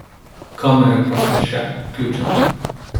Kamere pa so še vključene.